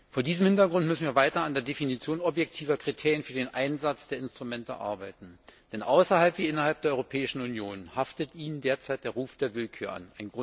Vor diesem Hintergrund müssen wir weiter an der Definition objektiver Kriterien für den Einsatz der Instrumente arbeiten, denn außerhalb wie innerhalb der Europäischen Union haftet ihnen derzeit der Ruf der Willkür an.